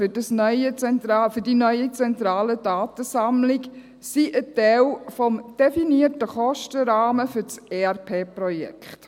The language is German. Die Kosten für diese neue, zentrale Datensammlung sind ein Teil des definierten Kostenrahmens für das ERP-Projekt.